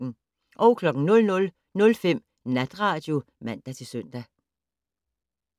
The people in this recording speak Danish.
00:05: Natradio (man-søn)